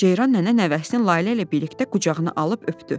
Ceyran nənə nəvəsinin Lalə ilə birlikdə qucağına alıb öpdü.